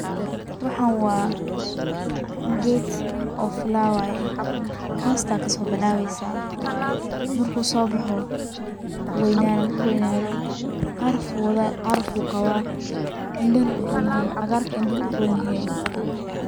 Waxan waa ged oo flower eh, hoosta kasoo bilaaweyso marku soo boxo wuu weynana marku weynado caraf uu qaba indhahana wuu uron yehe, cagaarka indhuhu uron yehe